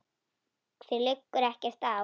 Þér liggur ekkert á.